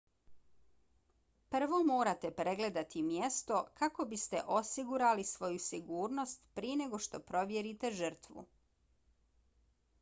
prvo morate pregledati mjesto kako biste osigurali svoju sigurnost prije nego što provjerite žrtvu